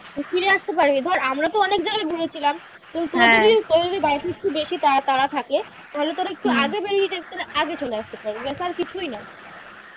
ফিরে আসতি পারবি ধর আমরা তো অনেক জায়গা ঘুরেছিলাম কিন্তু তোর যদি বেশি তাড়া তাড়া থাকে তাহলে তোর একটু আগে যাস তালে আগে চলে আসতে পারবি এছাড়া কিছুই না ।